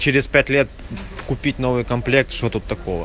через пять лет купить новый комплект что тут такого